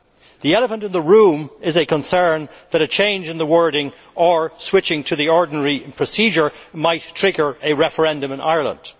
The elephant in the room is a concern that a change in the wording, or switching to the ordinary procedure, might trigger a referendum in Ireland.